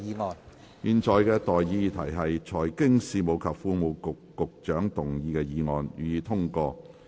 我現在向各位提出的待議議題是：財經事務及庫務局局長動議的議案，予以通過。